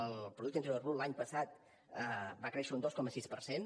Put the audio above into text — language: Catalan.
el producte interior brut l’any passat va créixer un dos coma sis per cent